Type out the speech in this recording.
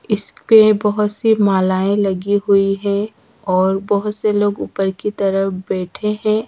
इस पे बहोत सी मालाएं लगी हुई है और बहोत से लोग ऊपर की तरफ बैठे है।